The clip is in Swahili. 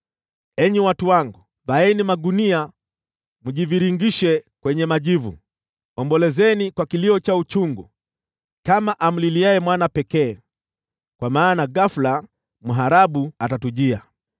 Enyi watu wangu, vaeni magunia mjivingirishe kwenye majivu, ombolezeni kwa kilio cha uchungu kama amliliaye mwana pekee, kwa maana ghafula mharabu atatujia.